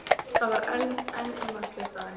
Það var enn ilmvatnslykt af henni.